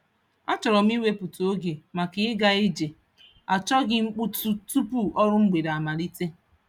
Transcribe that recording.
A chọrọ m ịwepụta oge maka ịga ije achọghị mkpọtụ tupu ọrụ mgbede amalite.